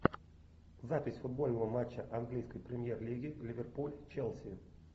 запись футбольного матча английской премьер лиги ливерпуль челси